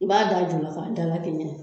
I b'a d'a ju la k'a da lakɛɲɛ